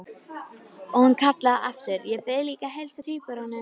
Og hún kallaði aftur: Ég bið líka að heilsa tvíburunum!